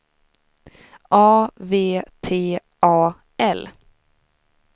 A V T A L